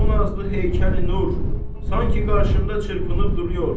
O nazlı heykəli Nur sanki qarşımda çırpınıb durur.